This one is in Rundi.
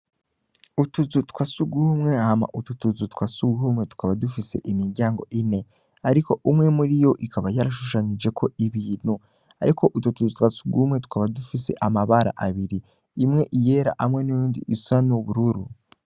Utuzu twasugumwe hama utu tuzu twasugumye tukaba dufise imiryango ine, ariko umwe muriyo ikaba yarashushanijeko ibintu, ariko utwo tuzu twasugumwe tukaba dufise amabara abiri imwe iyera hamwe niyundi usa n'ubururu.